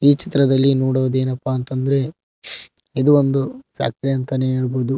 ಈ ಚಿತ್ರದಲ್ಲಿ ನೋಡುವದೆನಪ್ಪಾ ಅಂತ ಅಂದ್ರೆ ಇದು ಒಂದು ಫ್ಯಾಕ್ಟರಿ ಅಂತನೇ ಹೇಳಬೊದು.